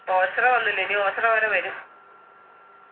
ഓച്ചിറ വന്നില്ല ഇനിയും ഓച്ചിറ വരെ വരും